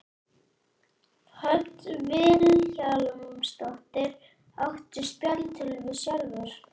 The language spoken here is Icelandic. Hödd Vilhjálmsdóttir: Áttu spjaldtölvu sjálfur?